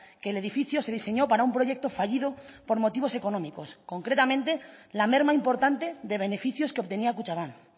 que el edificio se diseñó para un proyecto fallido por motivos económicos concretamente la merma importante de beneficios que obtenía kutxabank